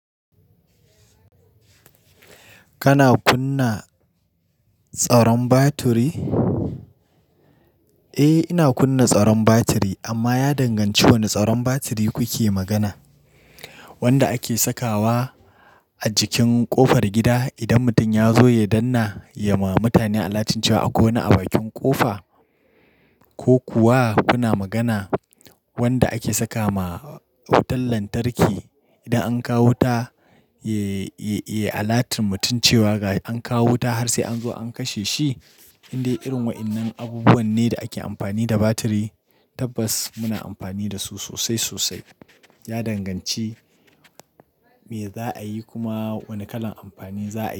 Kana kunna tsaron batiri? Eh ina kunna tsaron batiri amma ya danganci wane tsaron batiri kuke magana. Wanda ake sakawa a jikin ƙofar gida idan mutum ya zo ya danna ya ma mutane alatunci wa a ƙona a bakin ƙofa? Ko kuwa kuna magana wanda ake saka ma wutan lantarki idan an kawo wuta ya alatar mutum cewa an kawo wuta har sai an zo an kashe shi? Indai irin waɗannan abubuwa ne da ake amfani da batiri. Tabbas muna amfani da su sosai sosai. Ya danganci me za a yi kuma wane kalan amfani za a yi.